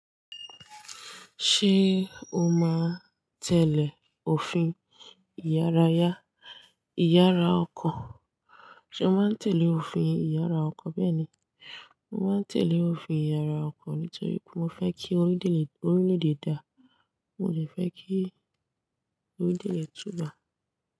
Ṣé o máa ń tẹ́lẹ̀ òfin ìyàrá yá, ìyàrá ọkọ̀? Ṣé o máa ń tẹ́lẹ̀ òfin ìyàrá ọkọ̀ bẹ́ẹ̀ ni, mo máa ń tẹ́lẹ̀ òfin ìyàrá ọkọ̀ nítorí mo fẹ́ kí orílè-èdè, orílè-èdè da, mo lè fẹ́ kí orílè-èdè tùbà.